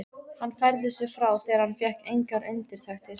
Hann færði sig frá þegar hann fékk engar undirtektir.